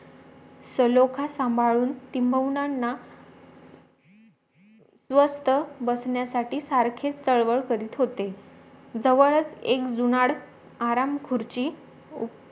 सलोखा सांभाळून टिम्बवुनांना स्वस्त बसण्यासाठी सारखेच चळवळ करत होतेजवळच एक जुनाड आराम खुर्ची